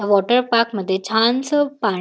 water पार्कमध्ये छानस पाण--